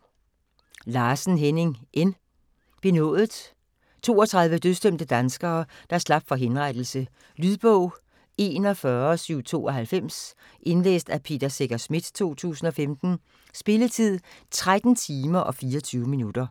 Larsen, Henning N.: Benådet 32 dødsdømte danskere, der slap for henrettelse. Lydbog 41792 Indlæst af Peter Secher Schmidt, 2015. Spilletid: 13 timer, 24 minutter.